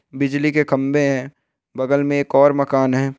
बिजली के खम्भे है| बगल में एक और मकान है।